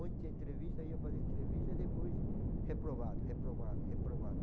Ontem entrevista, ia fazer entrevista, depois reprovado, reprovado, reprovado.